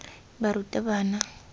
barutabana